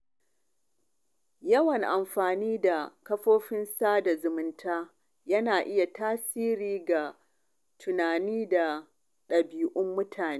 Yawan amfani da kafafen sada zumunta yana iya tasiri ga tunani da ɗabi’un mutane.